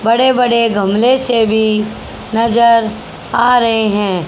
बड़े बड़े गमले से भी नजर आ रहे हैं।